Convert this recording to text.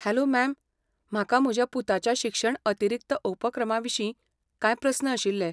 Hello, ma'am, म्हाका म्हज्या पुताच्या शिक्षण अतिरिक्त उपक्रमाविशीं कांय प्रस्न आशिल्ले.